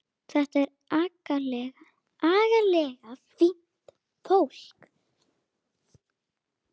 Þetta er agalega fínt fólk.